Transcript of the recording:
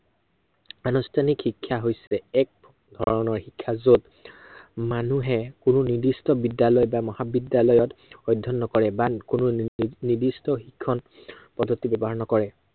আনুষ্ঠানিক শিক্ষা হৈছে, এক ধৰনৰ শিক্ষা যত, মানুহে কোনো নিৰ্দিষ্ট বিদ্য়ালয় বা মহাবিদ্য়ালয়ত, অধ্য়য়ন নকৰে বা কোনো নিৰ্দিষ্ট শিক্ষন পদ্ধতি ব্য়ৱহাৰ নকৰে।